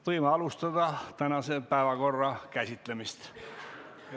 Võime alustada tänaste päevakorrapunktide käsitlemist.